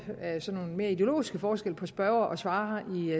nogle mere ideologiske forskelle på spørger og svarer